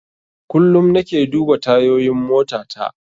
Kullum nake duba tayoyin motata.